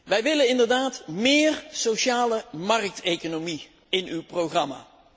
Wij willen inderdaad meer sociale markteconomie in uw programma.